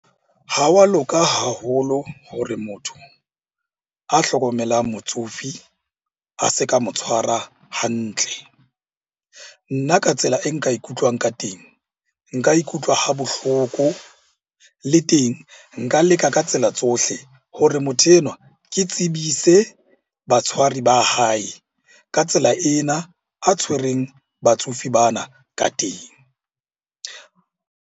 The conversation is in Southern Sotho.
Ha wa loka haholo hore motho a hlokomelang motsofe a se ka mo tshwara hantle. Nna ka tsela e nka ikutlwang ka teng, nka ikutlwa ha bohloko le teng nka leka ka tsela tsohle hore motho enwa ke tsebise batshwari ba hae ka tsela ena a tshwereng batsofe bana ka teng.